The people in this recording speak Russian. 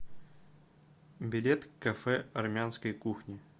билет кафе армянской кухни